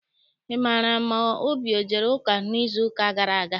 Ị maara ma Obi ejere ụka n'izuụka gara aga?